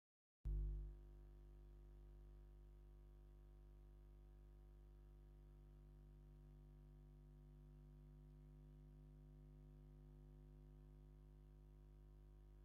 ሰማያዊ ሕብሪ ዘለዋ ኣብ ድሕሪት እፖንዳኣ ብቐይሕ ፅሑፍ ዘለዋ ንኡሽተ መኪና ትረኣ ኣላ ፡ ሓደ ሰብ ድማ ኣብ ቕድሚታ ጠጠው ኢሉ ኣሎ ፡ እንታይ ዝኾነ ይመስል ?